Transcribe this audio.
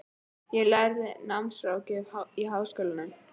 Ég er að læra námsráðgjöf í Háskólanum.